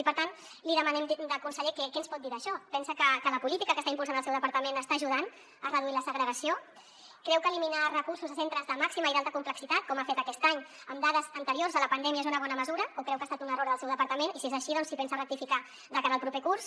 i per tant li demanem conseller què ens pot dir d’això pensa que la política que està impulsant el seu departament està ajudant a reduir la segregació creu que eliminar recursos a centres de màxima i d’alta complexitat com ha fet aquest any amb dades anteriors a la pandèmia és una bona mesura o creu que ha estat un error del seu departament i si és així doncs si pensa rectificar de cara al proper curs